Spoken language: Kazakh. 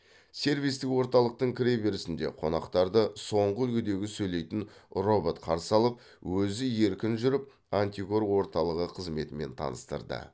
сервистік орталықтың кіре берісінде қонақтарды соңғы үлгідегі сөйлейтін робот қарсы алып өзі еркін жүріп антикор орталығы қызметімен таныстырды